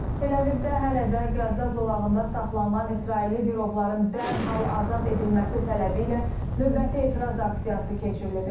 Təl-Əvivdə hələ də Qəzza zolağında saxlanılan İsrailli girovların dərhal azad edilməsi tələbi ilə növbəti etiraz aksiyası keçirilib.